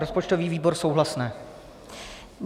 Rozpočtový výbor - souhlasné.